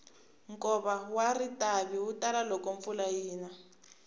nkova wa ritavi wu tala loko kuna mpfula